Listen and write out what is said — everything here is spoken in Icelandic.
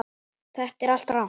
Þetta er allt rangt.